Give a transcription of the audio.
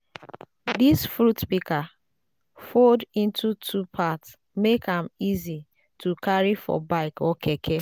dis fruit pika fold into two parts mek am easy to carry for bike or keke